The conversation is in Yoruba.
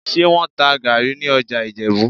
Ṣé wọ́n ń ta gàárì ní ọjà Ìjẹ̀bú?